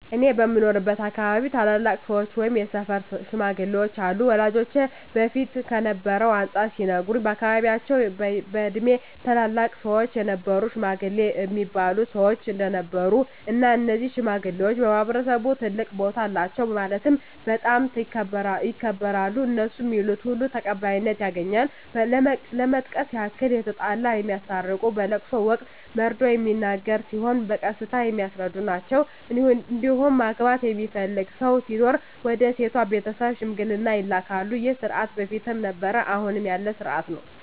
እኔ በምኖርበት አካባቢ ታላላቅ ሰዎች ወይም የሰፈር ሽማግሌዎች አሉ ወላጆቼ በፊት ከነበረው አንፃር ሲነግሩኝ በአካባቢያቸው በእድሜ ትላልቅ ሰዎች የሀገር ሽማግሌ እሚባሉ ሰዎች እንደነበሩ እና እነዚህ ሽማግሌዎች በማህበረሰቡ ትልቅ ቦታ አላቸው ማለትም በጣም ይከበራሉ እነሡ ሚሉት ሁሉ ተቀባይነት ያገኛል ለመጥቀስ ያክል የተጣላ የሚያስታርቁ በለቅሶ ወቅት መርዶ ሚነገር ሲሆን በቀስታ የሚያስረዱ ናቸዉ እንዲሁም ማግባት የሚፈልግ ሰው ሲኖር ወደ ሴቷ ቤተሰብ ሽምግልና ይላካሉ ይህ ስርዓት በፊትም ነበረ አሁንም ያለ ስርአት ነው።